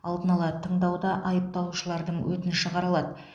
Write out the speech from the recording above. алдын ала тыңдауда айыпталушылардың өтініші қаралады